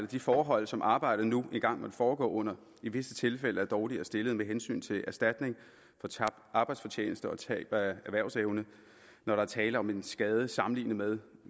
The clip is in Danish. de forhold som arbejdet nu engang foregår under i visse tilfælde er dårligere stillet med hensyn til erstatning for tabt arbejdsfortjeneste og tab af erhvervsevne når der er tale om en skade sammenlignet med